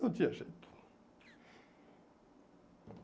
Não tinha jeito.